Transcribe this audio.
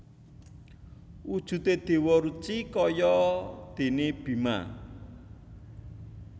Wujudé Déwa Ruci kaya déné Bima